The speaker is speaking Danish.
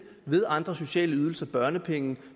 ved andre sociale ydelser børnepenge